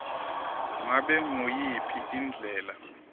ngabe nguyiphi indlela